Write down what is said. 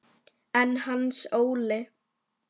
En Hans Óli?